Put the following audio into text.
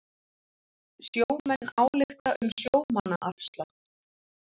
Sjómenn álykta um sjómannaafslátt